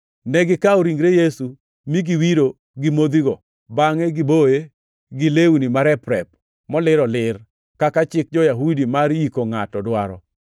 Negikawo ringre Yesu mi giwiro gi modhigo bangʼe giboye gi lewni marep-rep molir olir, kaka chik jo-Yahudi mar yiko ngʼato dwaro.